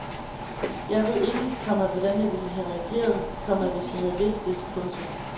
Jeg ved ikke, komma hvordan jeg ville have reageret, komma hvis jeg havde vidst det. punktum